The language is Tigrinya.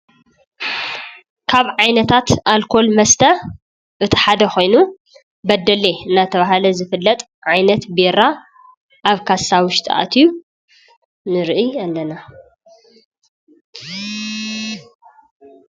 ካብ ዓይነታት አልኮል መስተ እቲ ሓደ ኮይኑ በዴሌ እናተባህለ ዝፍለጥ ዓይነት ቢራ አብ ካሳ ውሽጢ አትዩ ንሪኢ አለና፡፡